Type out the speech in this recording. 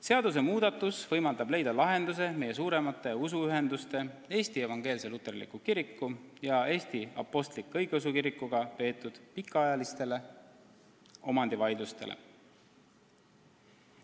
Seaduse muutmine võimaldab leida lahenduse meie suuremate usuühendustega ehk siis Eesti Evangeelse Luterliku Kiriku ja Eesti Apostlik-Õigeusu Kirikuga peetud pikaajalistele omandivaidlustele.